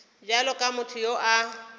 bjalo ka motho yo a